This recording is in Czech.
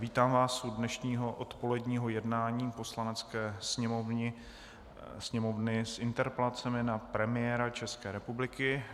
Vítám vás u dnešního odpoledního jednání Poslanecké sněmovny s interpelacemi na premiéra České republiky.